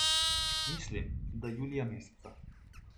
Mislim, da julija meseca.